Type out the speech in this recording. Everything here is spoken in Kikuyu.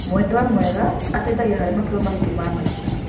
Mwendwa mwega ateithagia harĩ matua maritũ ma maica.